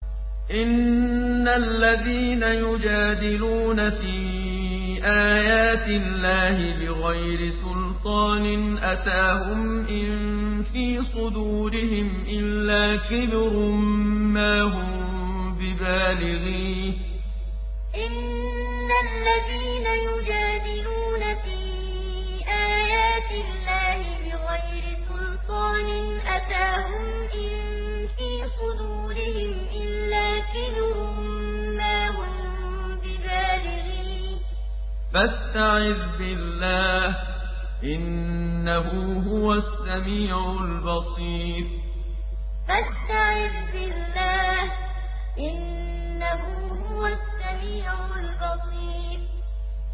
إِنَّ الَّذِينَ يُجَادِلُونَ فِي آيَاتِ اللَّهِ بِغَيْرِ سُلْطَانٍ أَتَاهُمْ ۙ إِن فِي صُدُورِهِمْ إِلَّا كِبْرٌ مَّا هُم بِبَالِغِيهِ ۚ فَاسْتَعِذْ بِاللَّهِ ۖ إِنَّهُ هُوَ السَّمِيعُ الْبَصِيرُ إِنَّ الَّذِينَ يُجَادِلُونَ فِي آيَاتِ اللَّهِ بِغَيْرِ سُلْطَانٍ أَتَاهُمْ ۙ إِن فِي صُدُورِهِمْ إِلَّا كِبْرٌ مَّا هُم بِبَالِغِيهِ ۚ فَاسْتَعِذْ بِاللَّهِ ۖ إِنَّهُ هُوَ السَّمِيعُ الْبَصِيرُ